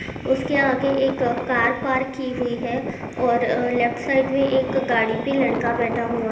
उसके आगे एक कार पार्क की हुई है और लेफ्ट साइड मे एक गाड़ी पे लड़का बैठा हुआ --